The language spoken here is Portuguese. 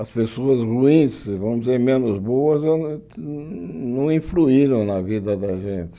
As pessoas ruins, vamos dizer, menos boas, eu não não influíram na vida da gente.